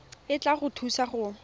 e tla go thusa go